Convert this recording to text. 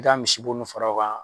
I ka misibo nun fara o kan.